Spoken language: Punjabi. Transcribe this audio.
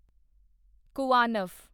ਕੁਵਾਨਵ